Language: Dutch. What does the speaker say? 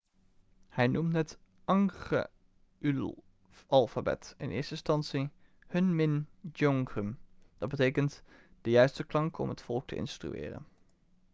hij noemde het hangeulalfabet in eerste instantie hunmin jeongeum dat betekent de juiste klanken om het volk te instrueren'